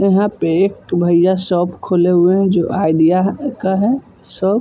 यहाँ पे एक भैया शॉप खोले हुए हैं जो आइडिया का है शॉप ।